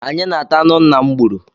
Anyị na-ata anụ nna m gburu